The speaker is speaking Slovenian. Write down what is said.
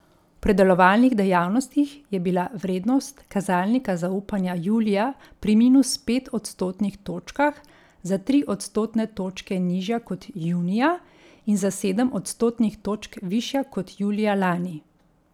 V predelovalnih dejavnostih je bila vrednost kazalnika zaupanja julija pri minus pet odstotnih točkah za tri odstotne točke nižja kot junija in za sedem odstotnih točk višja kot julija lani.